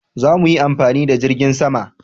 za mu yi amfani da jirgin sama